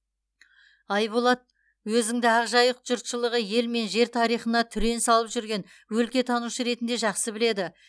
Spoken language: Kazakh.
айболат өзіңді ақ жайық жұртшылығы ел мен жер тарихына түрен салып жүрген өлкетанушы ретінде жақсы біледі